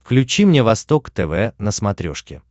включи мне восток тв на смотрешке